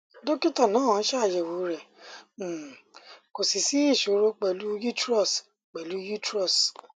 dókítà náà ṣàyẹwò rẹ um kò sì sí ìṣòro pẹlú utrus pẹlú utrus